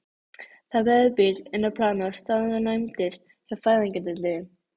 Það beygði bíll inn á planið og staðnæmdist hjá fæðingardeildinni.